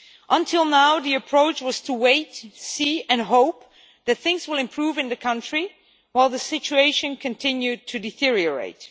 Until now, the approach has been to wait, see and hope that things will improve in the country whilst the situation continues to deteriorate.